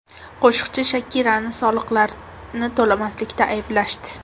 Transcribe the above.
Qo‘shiqchi Shakirani soliqlarni to‘lamaganlikda ayblashdi.